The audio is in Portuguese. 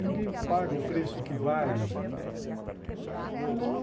Ninguém paga o preço que vale.